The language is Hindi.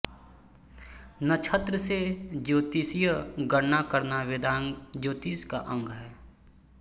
नक्षत्र से ज्योतिषीय गणना करना वेदांग ज्योतिष का अंग है